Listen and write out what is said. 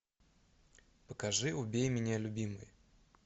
покажи убей меня любимый